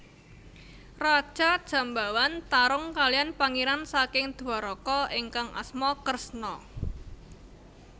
Raja Jambawan tarung kaliyan pangeran saking Dwaraka ingkang asma Kresna